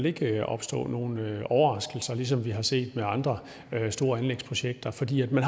ikke vil opstå nogen overraskelser ligesom vi har set med andre store anlægsprojekter fordi man